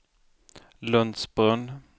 Lundsbrunn